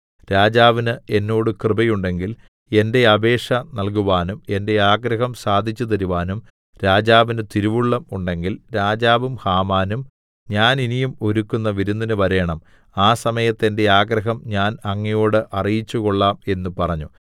രാജാവിന് എന്നോട് കൃപയുണ്ടെങ്കിൽ എന്റെ അപേക്ഷ നല്കുവാനും എന്റെ ആഗ്രഹം സാധിച്ചുതരുവാനും രാജാവിന് തിരുവുള്ളം ഉണ്ടെങ്കിൽ രാജാവും ഹാമാനും ഞാൻ ഇനിയും ഒരുക്കുന്ന വിരുന്നിന് വരേണം ആ സമയത്ത് എന്റെ ആഗ്രഹം ഞാന്‍ അങ്ങയോടു അറിയിച്ചു കൊള്ളാം എന്ന് പറഞ്ഞു